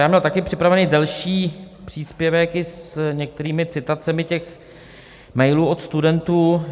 Já měl taky připravený delší příspěvek i s některými citacemi těch mailů od studentů.